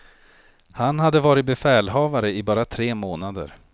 Han hade varit befälhavare i bara tre månader.